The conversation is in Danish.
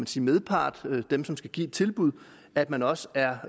sin medpart dem som skal give et tilbud at man også er